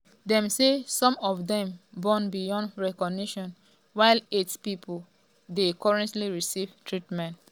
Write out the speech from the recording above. dem say some of dem burn beyond recognition while eight pipo um dey currently receive treatment.